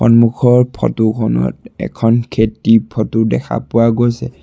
সন্মুখৰ ফটোখনত এখন খেতি ফটো দেখা পোৱা গৈছে।